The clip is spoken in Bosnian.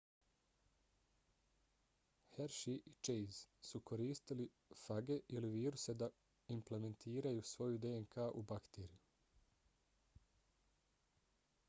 hershey i chase su koristili fage ili viruse da implantiraju svoju dnk u bakteriju